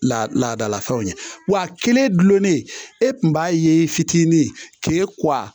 La laadalafɛnw ye wa kelen gulonnen e kun b'a ye fitinin k'e kuwa